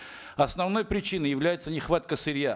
основной причиной является нехватка сырья